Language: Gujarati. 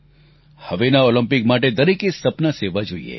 હવેના ઓલમ્પિક માટે દરેકે સપનાં સેવવા જોઈએ